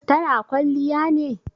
Ta na kwalliya ne?